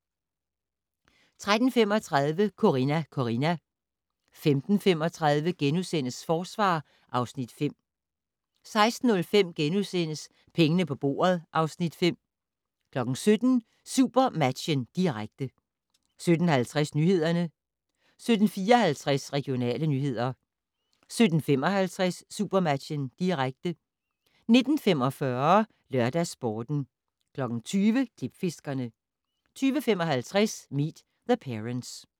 13:35: Corrina, Corrina 15:35: Forsvar (Afs. 5)* 16:05: Pengene på bordet (Afs. 5)* 17:00: SuperMatchen, direkte 17:50: Nyhederne 17:54: Regionale nyheder 17:55: SuperMatchen, direkte 19:45: LørdagsSporten 20:00: Klipfiskerne 20:55: Meet the Parents